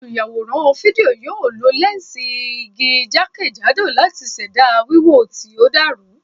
Olùyàwòrán fídíò yóò lo lẹ́ǹsì igun jákèjádò láti ṣẹ̀dá wíwò tí ó dàrú.